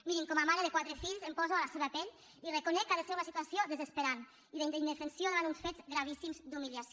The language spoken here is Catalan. mirin com a mare de quatre fills em poso a la seva pell i reconec que ha de ser una situació desesperant i d’indefensió davant uns fets gravíssims d’humiliació